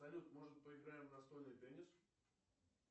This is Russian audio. салют может поиграем в настольный теннис